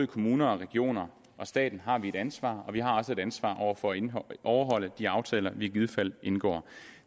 kommuner og regioner og staten har et ansvar vi har også et ansvar over for at overholde de aftaler vi i givet fald indgår